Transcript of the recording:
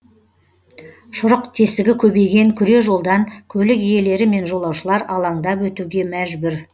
шұрық тесігі көбейген күре жолдан көлік иелері мен жолаушылар алаңдап өтуге мәжбүр